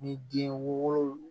Ni den wolonugu